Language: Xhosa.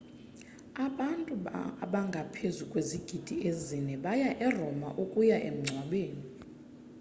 abantu abangaphezu kwezigidi ezine baya eroma ukuya emngcwabeni